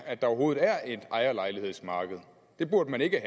at der overhovedet er et ejerlejlighedsmarked det burde man ikke